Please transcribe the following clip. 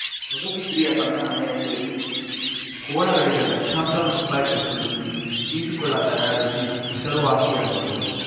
ಪಡುಬಿದ್ರಿಯ ತನ್ನ ಮನೆಯಲ್ಲಿ ಕೋಣಗಳಿಗೆ ಲಕ್ಷಾಂತರ ರುಪಾಯಿ ವೆಚ್ಚದಲ್ಲಿ ಈಜುಕೊಳ ತಯಾರಿಸಿ ಹೆಸರುವಾಸಿಯಾಗಿದ್ದರು